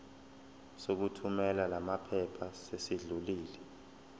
sokuthumela lamaphepha sesidlulile